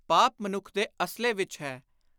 ਪਾਪ ਮਨੁੱਖ ਦੇ ਅਸਲੇ ਵਿਚ ਹੈ।